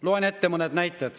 Loen ette mõne näite.